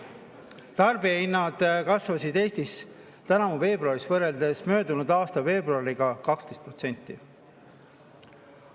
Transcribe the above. Tarbijahinnad kasvasid Eestis tänavu veebruaris võrreldes möödunud aasta veebruariga 12%.